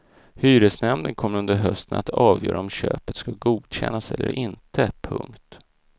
Hyresnämnden kommer under hösten att avgöra om köpet ska godkännas eller inte. punkt